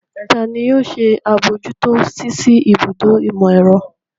Ta ni yóò ṣe àbójútó ṣíṣí ibùdó ìmọ̀-ẹ̀rọ?